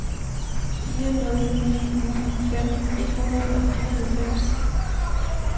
fire nul ni ni femten et hundrede og fireoghalvfems